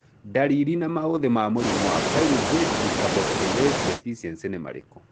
Ndariri na maũthĩ ma mũrimũ wa Pyruvate decarboxylase deficiency nĩ marĩkũ?